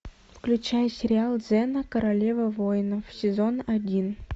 включай сериал зена королева воинов сезон один